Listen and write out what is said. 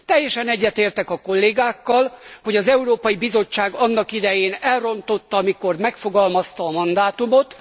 Teljesen egyetértek a kollégákkal, hogy az Európai Bizottság annak idején elrontotta, amikor megfogalmazta a mandátumot.